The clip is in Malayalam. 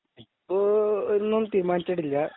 ഇപ്പൊ ഒന്നും തീരുമാനിച്ചിട്ടില്ല